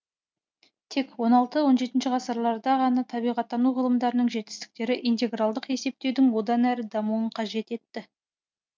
тек он алты он жетінші ғасырларда ғана табиғаттану ғылымдарының жетістіктері интегралдық есептеудің одан әрі дамуын қажет етті